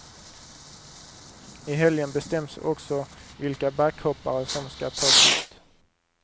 I helgen bestäms också vilka backhoppare som ska tas ut.